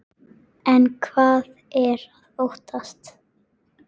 En hvað er að óttast?